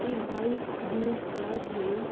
ये white new car है।